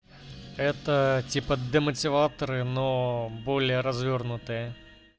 это типа демотиваторы но более развёрнутые